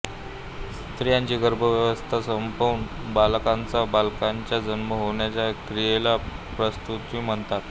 स्त्रीची गर्भावस्था संपून बालकाचाबालकांचा जन्म होण्याच्या क्रियेला प्रसूती म्हणतात